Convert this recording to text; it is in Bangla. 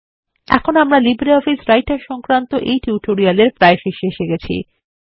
এখন আমরা লিব্রিঅফিস রাইটার সংক্রান্ত এই টিউটোরিয়াল এর প্রায় শেষে এসে গেছি